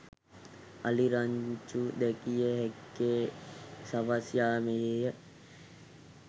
අලි රංචු දැකිය හැක්කේ සවස් යාමයේ